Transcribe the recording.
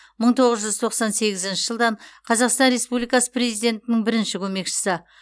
мың тоғыз жүз тоқсан сегізінші жылдан қазақстан республикасы президентінің бірінші көмекшісі